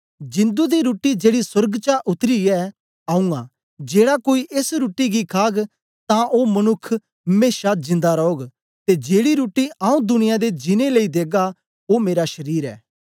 जिंदु दी रुट्टी जेड़ी सोर्ग चा उत्तरी ऐ आऊँ आं जेड़ा कोई एस रुट्टी गी खाग तां ओ मनुक्ख मेशा जिन्दा रौग ते जेड़ी रुट्टी आऊँ दुनियां दे जीनें लेई देगा ओ मेरा शरीर ऐ